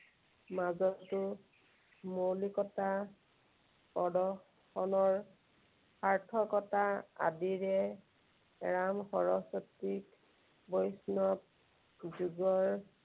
মাজতো মৌলিকতা প্ৰদৰ্শনৰ সাৰ্থকতা আদিৰে ৰাম সৰস্বতীক বৈষ্ণৱ যুগৰ